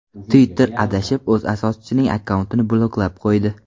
Twitter adashib o‘z asoschisining akkauntini bloklab qo‘ydi .